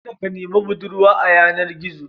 Kada ka nemi budurwa a yanar-gizo.